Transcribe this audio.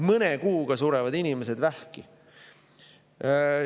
Mõne kuuga surevad inimesed vähki.